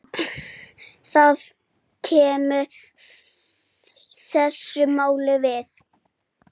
Það kemur þessu máli við.